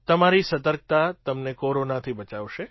તમારી સતર્કતા તમને કોરોનાથી બચાવશે